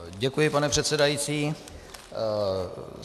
Děkuji, pane předsedající.